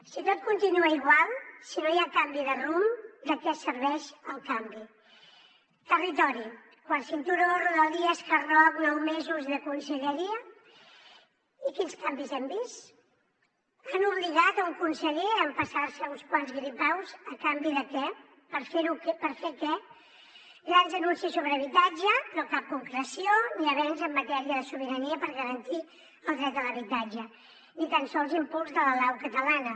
si tot continua igual si no hi ha canvi de rumb de què serveix el canvi territori quart cinturó rodalies hard rock nou mesos de conselleria i quins canvis hem vist han obligat un conseller a empassar se uns quants gripaus a canvi de què per fer què grans anuncis sobre habitatge però cap concreció ni avenç en matèria de sobirania per garantir el dret a l’habitatge ni tan sols impuls de la lau catalana